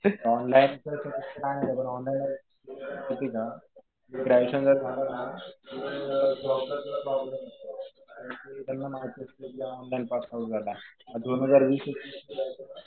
Online तर काही नाही. पण ऑनलाईन जर माहितीये का तुझं ग्रॅज्युएशन जर झालं ना तर जॉबला तुला प्रॉब्लेम येतो. कारण कि त्यांना माहित असतं कि ऑनलाईन पास आउट झालाय. दोन हजार वीस-एकवीस नंतर